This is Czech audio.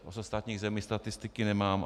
Z ostatních zemí statistiky nemám.